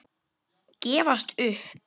Gefast upp?